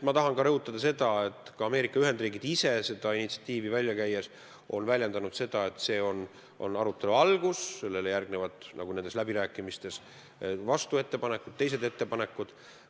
Ma tahan rõhutada, et Ameerika Ühendriigid on seda initsiatiivi välja käies viidanud, et see on arutelu algus ja sellele järgnevad nagu läbirääkimistes ikka vastuettepanekud, teised ettepanekud.